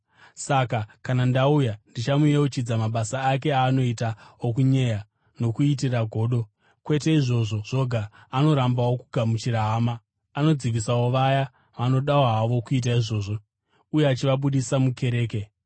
Saka kana ndauya, ndichamuyeuchidza mabasa ake aanoita, okunyeya, nokuitira godo. Kwete izvozvo zvoga, anorambawo kugamuchira hama. Anodzivisawo vaya vanoda havo kuita izvozvo uye achivabudisa mukereke.